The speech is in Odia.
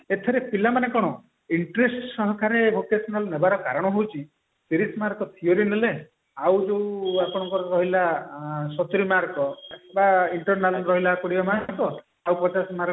ଏଥିରେ ପିଲାମାନେ କଣ interest ସହକାରେ vocational ନବାର କାରଣ ହଉଛି ତିରିଶି mark ର theory ନେଲେ ଆଉ ଯୋଉ ଆପଣଙ୍କର ରହିଲା ସତୁରି mark ର ବା internal ରହିଲା କୋଡିଏ mark ର ଆଉ ଗୋଟେ ଆମର